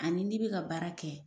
Ani n'i bɛ ka baara kɛ